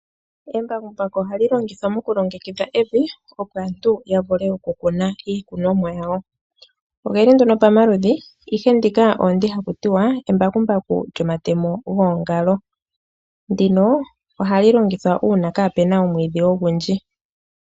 Embakumabuku ohali longithwa mokulongekidha evi opo aantu ya vule oku kuna iikunomwa ya wo. Ogeli nduno po maludhi ihe ndika olyo ndi haku tiwa embakumbaku lyomatemo geengalo. Ndino ohali longithwa uuna kaapena omwiidhi ogundji.